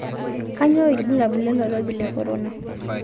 Kianyoo ilbulabul lolkirobi le korona?